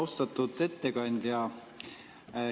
Austatud ettekandja!